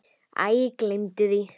Æ, gleymdu því.